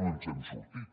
no ens n’hem sortit